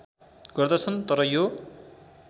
गर्दछन् तर यो